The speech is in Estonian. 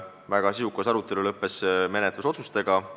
Väga sisukas arutelu lõppes menetlusotsustega.